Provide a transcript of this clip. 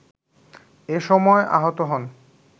এ সময় আহত হন